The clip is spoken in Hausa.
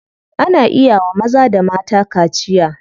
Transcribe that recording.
Ana iya wa maza da mata kaciya.